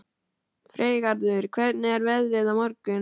Freygarður, hvernig er veðrið á morgun?